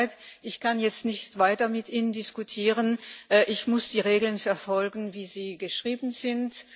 Es tut mir leid, ich kann jetzt nicht weiter mit Ihnen diskutieren. Ich muss die Vorschriften befolgen, wie sie geschrieben sind.